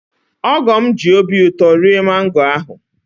Ogo'm ji obi ụtọ rie mango ahụ